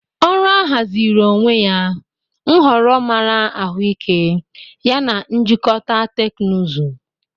Ọrụ ahaziri onwe ya, nhọrọ mara ahụike yana njikọta teknụzụ.